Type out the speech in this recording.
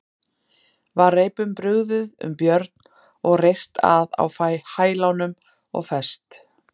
Var reipum brugðið um Björn og reyrt að á hælunum og fest.